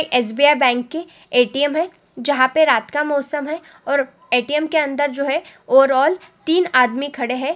ये एस_बी_आई_ बैंक की ए_टी_एम है जहाँ पे रात का मौसम है और ए_टी_ऍम के अंदर जो है ओवर ऑल तीन आदमी खड़े हैं।